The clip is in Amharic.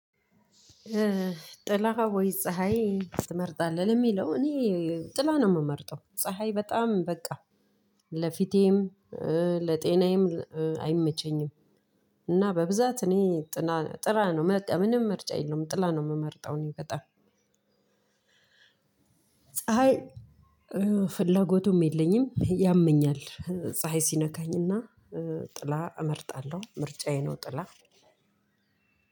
ጥላ ወይ ፀሀይ ትመርጣለህ? የሚለው እኔ ጥላ ነው የምመርጠው። ፀሀይ በጣም በቃ ለፊቴም ለጤናዬም አይመቸኝም። እና በብዛት እኔ ጥላ ጥራ ነው። በቃ ምንም ምርጫ የለውም ጥላ ነው የምመርጠው። እኔ በጣም ፀሀይ ፍላጎቱም የለኝም ያመኛል ፀሀይ ሲነካኝ እና ጥላ እመርጣለሁ። ምርጫዬ ነው ጥላ።